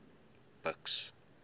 buks